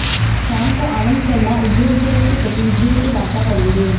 शाम को आनंद शर्मा उद्योग जगत के प्रतिनिधियों से वार्ता करेंगे